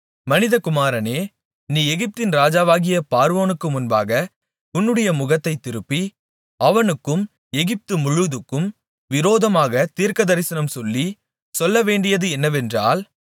மனிதகுமாரனே நீ எகிப்தின் ராஜாவாகிய பார்வோனுக்கு முன்பாக உன்னுடைய முகத்தைத் திருப்பி அவனுக்கும் எகிப்து முழுதுக்கும் விரோதமாகத் தீர்க்கதரிசனம் சொல்லி சொல்லவேண்டியது என்னவென்றால்